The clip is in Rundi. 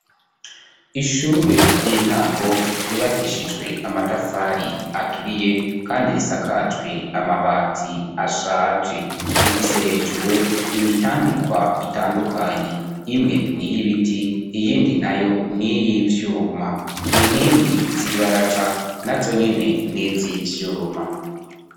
Ishure ry'intango ryubakishijwe amatafari aturiye kandi risakajwe amabati ashaje rifise hejuru imitambikwa itandukanyi imwe ni y'ibiti iyindi nayo n'iy'ivyuma inkingi z'ibaraza na zonyene n'izivyuma.